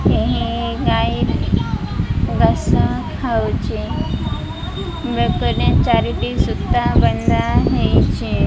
ଏଁ ଗାଈ ଘାସ ଖାଉଛି ବେକରେ ଚାରିଟି ସୂତା ବନ୍ଧା ହେଇଚି।